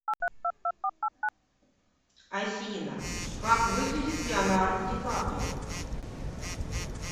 афина как выглядит леонардо ди каприо